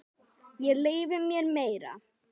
Ég leyfi mér meira.